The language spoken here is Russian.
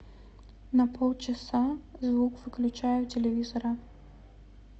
на полчаса звук выключай у телевизора